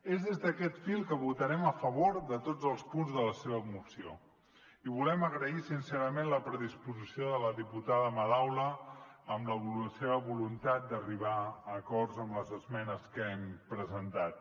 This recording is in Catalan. és des d’aquest fil que votarem a favor de tots els punts de la seva moció i volem agrair sincerament la predisposició de la diputada madaula amb la seva voluntat d’arribar a acords amb les esmenes que hem presentat